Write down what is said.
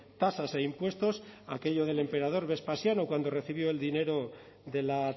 tasas e impuestos aquello del emperador vespasiano cuando recibió el dinero de la